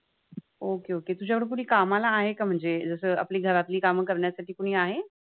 Okay Okay तुझ्याकडे कुणी कामाला आहे का म्हणजे, जसं आपली घरातली कामं करण्यासाठी कुणी आहे?